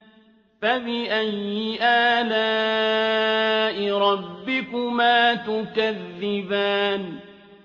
فَبِأَيِّ آلَاءِ رَبِّكُمَا تُكَذِّبَانِ